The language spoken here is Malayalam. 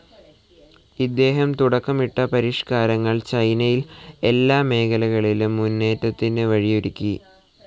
ഇദ്ദേഹം തുടക്കമിട്ട പരിഷ്കാരങ്ങൾ ചൈനയിൽ എല്ലാ മേഖലകളിലും മുന്നേറ്റത്തിനു വഴിയൊരുക്കി.